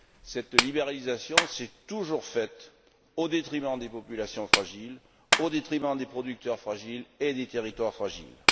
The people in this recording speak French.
Cette libéralisation s'est toujours faite au détriment des populations fragiles, au détriment des producteurs fragiles et des territoires fragiles.